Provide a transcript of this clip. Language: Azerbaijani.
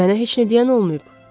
Mənə heç nə deyən olmayıb.